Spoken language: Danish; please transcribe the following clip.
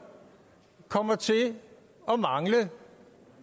kommer til at mangle